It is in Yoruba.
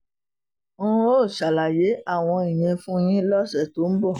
n óò ṣàlàyé àwọn ìyẹn fún yín lọ́sẹ̀ tó ń bọ̀